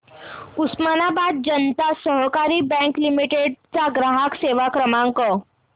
उस्मानाबाद जनता सहकारी bank limited चा ग्राहक सेवा क्रमांक